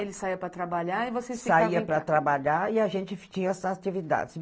Aí ele saía para trabalhar e vocês ficavam... Saía para trabalhar e a gente tinha essas atividades.